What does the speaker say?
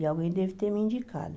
E alguém deve ter me indicado.